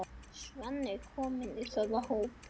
Svenni kominn í þeirra hóp.